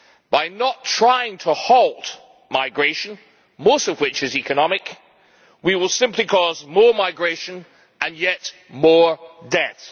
By not trying to a halt migration, most of which is economic, we will simply cause more migration and yet more debt.